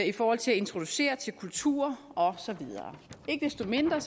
i forhold til at introducere til kultur og så videre ikke desto mindre